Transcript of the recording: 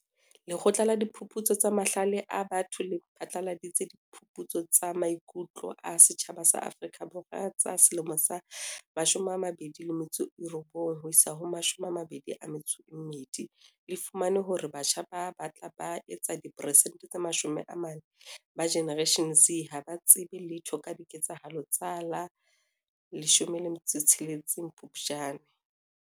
Lekgotla la Diphuputso tsa Mahlale a Batho le phatlaladitse Diphuputso tsa Maiku tlo a Setjhaba Afrika Borwa tsa 2019-2020 tse fumaneng hore batjha ba batlang ba etsa diperesente tse 40 ba Generation Z ha ba tsebe letho ka diketsahalo tsa la 16 Phupjane.